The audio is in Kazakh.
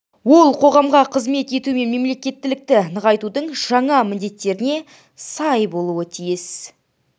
ол қоғамға қызмет ету мен мемлекеттілікті нығайтудың жаңа міндеттеріне сай болуы тиіс